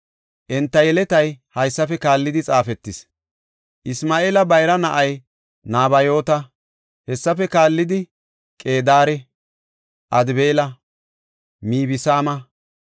Enta yeletay haysafe kaallidi xaafetis. Isma7eela bayra na7ay Nabayoota; hessafe kallidi, Qedaare, Adbeela, Mibsaama,